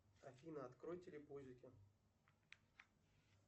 афина открой телепузики